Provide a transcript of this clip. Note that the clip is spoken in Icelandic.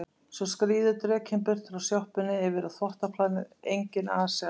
Svo skríður drekinn burt frá sjoppunni yfir á þvottaplanið, enginn asi á